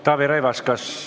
Taavi Rõivas, kas ...